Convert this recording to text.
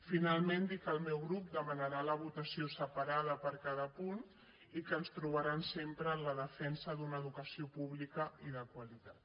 finalment dir que el meu grup demanarà la votació separada per a cada punt i que ens trobaran sempre en la defensa d’una educació pública i de qualitat